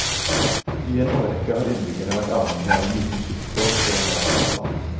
I en årrekke har innbyggerne vært avhengig av en liten skyssbåt for å nå fastlandet.